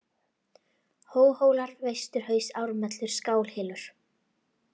Hólahólar, Vesturhaus, Ármelur, Skálahylur